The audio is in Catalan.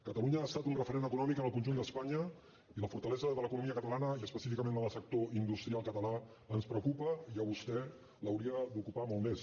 catalunya ha estat un referent econòmic en el conjunt d’espanya i la fortalesa de l’economia catalana i específicament la del sector industrial català ens preocupa i a vostè l’hauria d’ocupar molt més